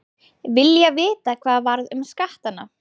Vilja vita hvað varð um skattana